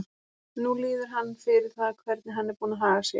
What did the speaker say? Nú líður hann fyrir það hvernig hann er búinn að haga sér.